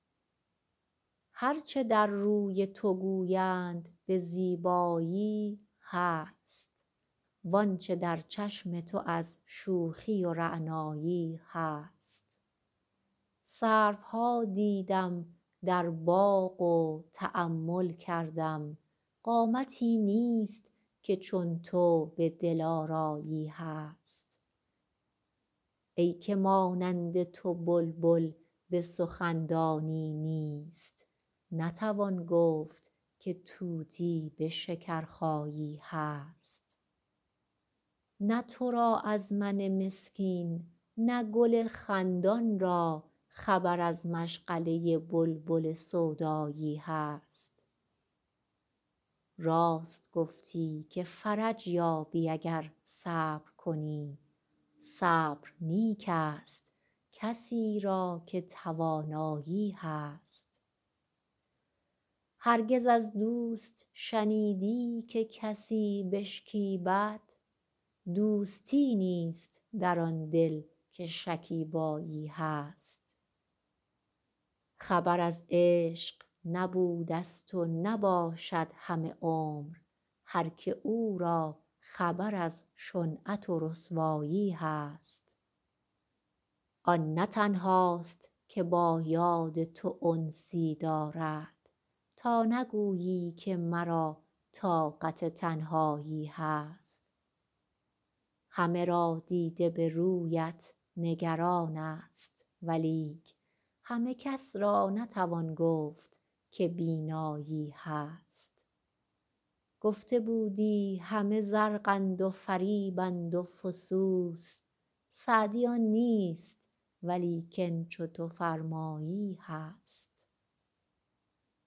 هر چه در روی تو گویند به زیبایی هست وان چه در چشم تو از شوخی و رعنایی هست سروها دیدم در باغ و تأمل کردم قامتی نیست که چون تو به دلآرایی هست ای که مانند تو بلبل به سخن دانی نیست نتوان گفت که طوطی به شکرخایی هست نه تو را از من مسکین نه گل خندان را خبر از مشغله بلبل سودایی هست راست گفتی که فرج یابی اگر صبر کنی صبر نیک ست کسی را که توانایی هست هرگز از دوست شنیدی که کسی بشکیبد دوستی نیست در آن دل که شکیبایی هست خبر از عشق نبودست و نباشد همه عمر هر که او را خبر از شنعت و رسوایی هست آن نه تنهاست که با یاد تو انسی دارد تا نگویی که مرا طاقت تنهایی هست همه را دیده به رویت نگران ست ولیک همه کس را نتوان گفت که بینایی هست گفته بودی همه زرقند و فریبند و فسوس سعدی آن نیست ولیکن چو تو فرمایی هست